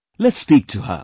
Let's speak to her